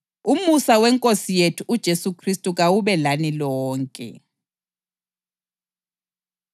Umusa weNkosi yethu uJesu Khristu kawube lani lonke.